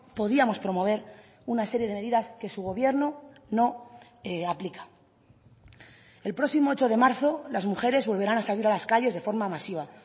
podíamos promover una serie de medidas que su gobierno no aplica el próximo ocho de marzo las mujeres volverán a salir a las calles de forma masiva